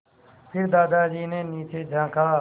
फिर दादाजी ने नीचे झाँका